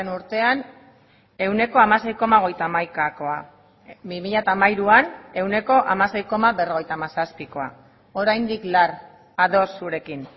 urtean ehuneko hamasei koma hogeita hamaikakoa bi mila hamairuan ehuneko hamasei koma berrogeita hamazazpikoa oraindik lar ados zurekin